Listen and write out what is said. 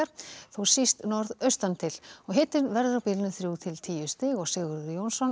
þó síst norðaustantil og hitinn verður á bilinu þrjú til tíu stig Sigurður Jónsson